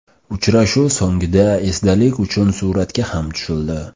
Uchrashuv so‘ngida esdalik uchun suratga ham tushildi.